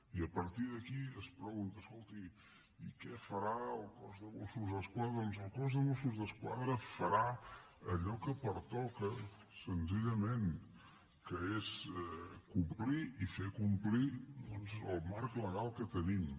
i a partir d’aquí es pregunta escolti i què farà el cos de mossos d’esquadra doncs el cos de mossos d’esquadra farà allò que pertoca senzillament que és complir i fer complir doncs el marc legal que tenim